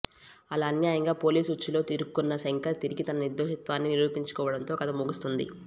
అలా అన్యాయంగా పోలీస్ ఉచ్చులో ఇరుక్కున్న శంకర్ తిరిగి తన నిర్దోషిత్వాన్ని నిరూపించుకోడంతో కథ ముగుస్తుంది